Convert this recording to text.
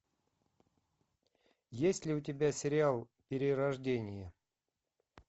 есть ли у тебя сериал перерождение